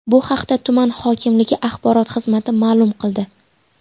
Bu haqda tuman hokimligi axborot xizmati ma’lum qildi .